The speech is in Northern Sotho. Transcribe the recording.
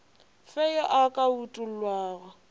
fe yo a ka utollago